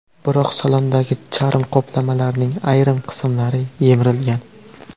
Biroq salondagi charm qoplamalarning ayrim qismlari yemirilgan.